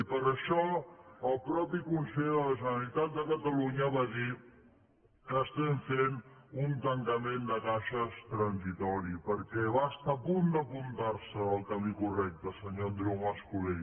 i per això el mateix conseller de la generalitat de catalunya va dir que estem fent un tancament de caixes transitori perquè va estar a punt d’apuntar se en el camí correcte senyor andreu mas colell